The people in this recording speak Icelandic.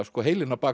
heilinn á bak